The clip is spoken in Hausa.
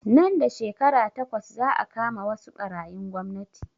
Nan da shekara takwas za a kama wasu ɓarayin gwamnati